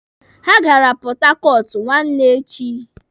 Ha gara Pọthakọọtụ nwanne echi.